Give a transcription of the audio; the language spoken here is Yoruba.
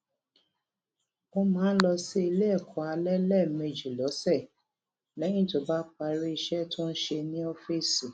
ó máa ń lọ sí ilé èkó alé léèmejì lósè léyìn tó bá parí iṣé tó ń ṣe ní ófíìsì